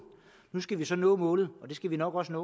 nu skal vi så nå målet og det skal vi nok også